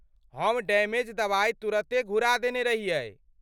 हम डैमेज दवाइ तुरते घुरा देने रहियै।